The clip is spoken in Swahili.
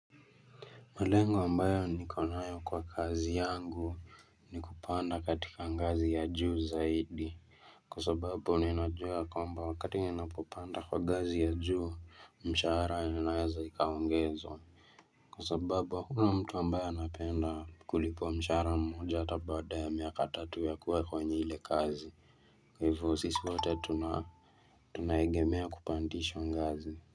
Malengo mbayo niko nayo kwa kazi yangu, ni kupanda katika ngazi ya juu zaidi, kwa sababu ninajua ya kwamba wakati ninapopanda kwa gazi ya juu, mshahara inaweza ikaongezwa Kwa sababu, hukuna mtu ambaye anapenda kulipwa mshahara mmoja hata baada ya miaka tatu ya kuwa kwenye ile kazi. Kwa hivyo sisi wote tuna Tunaegemea kupandishwa ngazi.